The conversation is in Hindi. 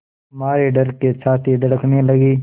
मारे डर के छाती धड़कने लगी